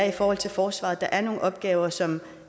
i forhold til forsvaret er der nogle opgaver som